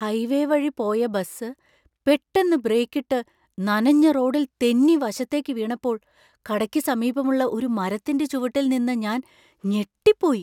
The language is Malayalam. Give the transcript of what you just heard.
ഹൈവേവഴി പോയ ബസ് പെട്ടെന്ന് ബ്രേക്കിട്ട് നനഞ്ഞ റോഡിൽ തെന്നി വശത്തേക്ക് വീണപ്പോൾ കടയ്‌ക്ക് സമീപമുള്ള ഒരു മരത്തിന്‍റെ ചുവട്ടിൽ നിന്ന ഞാന്‍ ഞെട്ടിപ്പോയി .